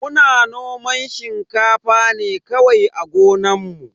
Muna noman shinkafa ne kawai a gonan mu.